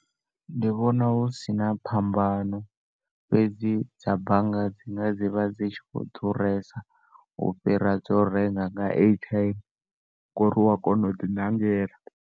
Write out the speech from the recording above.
Ndi vhona hu sina phambano, fhedzi dza bannga dzi nga dzi vha dzi tshi khou ḓuresa u fhira dzo u renga nga airtime ngo uri u a kona u ḓi ṋangela.